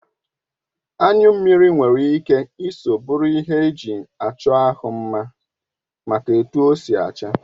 Anyu mmiri nwere ike Isọ bụrụ ihe eji achọ ahụ mma maka etu ọ si acha.